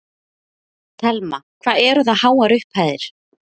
Telma: Hvað eru það háar upphæðir?